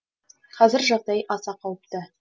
қазір жағдай аса қауіпті